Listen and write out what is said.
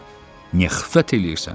"A bala, niyə xiffət eləyirsən?